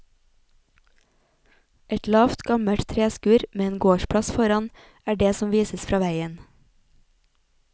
Et lavt, gammelt treskur med en gårdsplass foran er det som vises fra veien.